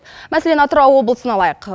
мәселен атырау облысын алайық